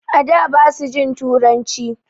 A da basu jin turanci.